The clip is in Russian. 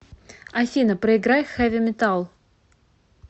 афина проиграй хэви метал